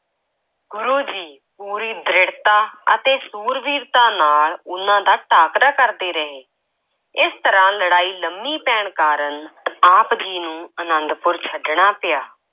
ਗੁਰੂ ਜੀ ਪੂਰੀ ਦ੍ਰਿੜਤਾ ਅਤੇ ਸੂਰਬੀਰਤਾ ਨਾਲ ਉਨ੍ਹਾਂ ਦਾ ਟਾਕਰਾ ਕਰਦੇ ਰਹੇ, ਇਸ ਤਰ੍ਹਾਂ ਲੜਾਈ ਲੰਮੀ ਪੈਣ ਕਾਰਨ ਆਪ ਜੀ ਨੂੰ ਆਨੰਦਪੁਰ ਛੱਡਣਾ ਪਿਆ।